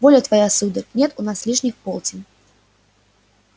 воля твоя сударь нет у нас лишних полтин